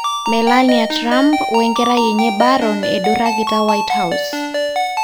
Melania Trump wenkerai enye Baron edurakita White House.